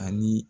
Ani